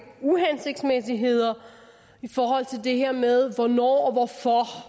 uhensigtsmæssigheder i forhold til det her med hvornår